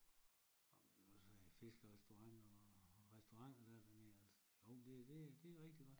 Nå men også er fiskerestauranter og restauranter der er dernede altså jo det det det er rigtig godt